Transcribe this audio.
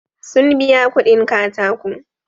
Sun biya kuɗin katako.